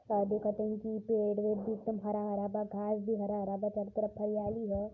शायद देखत हवन कि पेड़ वेड़ भी एकदम हरा हरा बा। घास भी हरा हरा बा। चारों तरफ हरियाली ह।